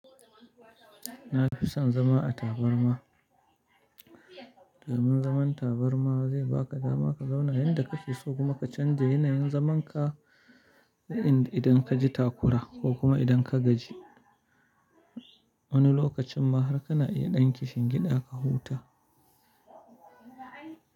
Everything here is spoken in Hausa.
Na fi son zama a tabarma. Damun zaman tabarma zai baka dama ka zauna yanda kake so kuma ka canza yanayin zaman ka idan ka ji takura ko kuma idan ka gaji. Wani lokacin ma har kana iya ɗinke shingida ka huta.